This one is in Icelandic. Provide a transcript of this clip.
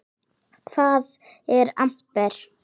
Hvað er amper?